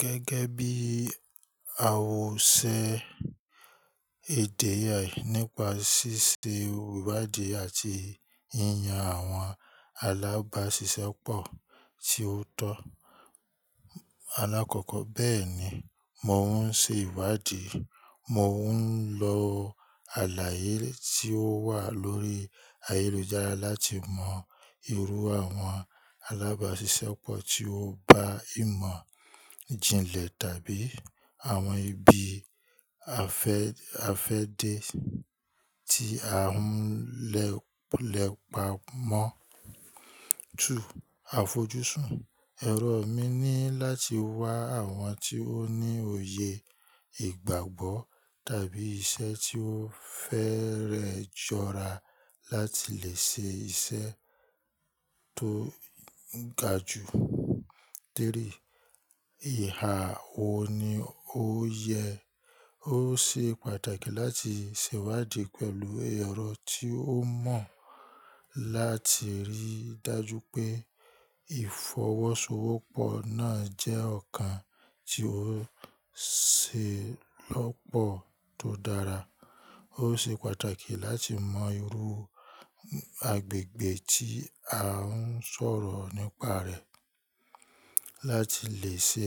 Gẹ́gẹ́ bí a ò ṣe èdè yẹn nípa ṣíṣe ìwádìí àti yíyan àwọn alábàáṣiṣẹ́pọ̀ tí ó tọ́ alákọ̀ọ́kọ́. Bẹ́ẹ̀ni, mò ún ṣe ìwádìí. Mò ún lo àlàyé tí ó wà lórí ayélujára láti mọ irú àwọn alábàáṣiṣẹ́pọ̀ tí ó bá ìmọ̀ ìjìnlẹ̀ tàbí àwọn ibi afẹ́ afẹ́dẹ́ tí à ń lẹ́pa mọ́. 2. Àfojúsùn. Ẹ̀rọ emi ni láti wá àwọn tí ó ní òye ìgbàgbọ́ tàbí iṣẹ́ tí ó fẹ́rẹ́ jọra láti lè ṣe iṣẹ́ tó ga jù. 3. Ìhà wòní ó yẹ. Ó ṣe pàtàkì láti ṣè iwádìí pẹ̀lú ẹ̀rọ tí ó mọ̀ láti ríi dájú pé ìfọwọ́sowọ́pọ̀ náà jẹ́ ọ̀kan tí ó ṣe lọ́pọ̀ tó dára. Ó ṣe pàtàkì láti mọ irú agbègbè tí à ń sọ̀rọ̀ nípa rẹ̀ láti lè ṣe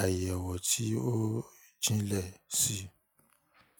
àyẹ̀wò tí ó jìnlẹ̀ síi.